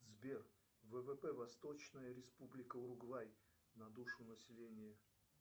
сбер ввп восточная республика уругвай на душу населения